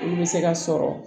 Olu bɛ se ka sɔrɔ